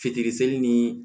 Fitiri seli ni